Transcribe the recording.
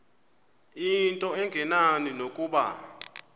into engenani nokuba